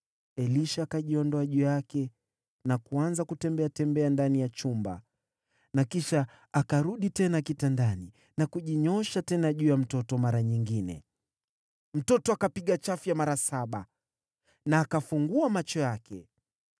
Elisha akajiondoa juu yake na kuanza kutembeatembea ndani ya chumba, kisha akarudi tena kitandani na kujinyoosha tena juu ya mtoto mara nyingine. Mtoto akapiga chafya mara saba, akafungua macho yake.